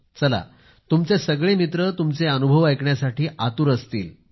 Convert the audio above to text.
चला तुमचे सगळे मित्र तुमचे अनुभव ऐकण्यासाठी आतुर झालेले असतील